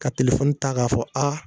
Ka telefɔni ta k'a fɔ a